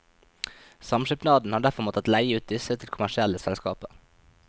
Samskipnaden har derfor måttet leie ut disse til kommersielle selskaper.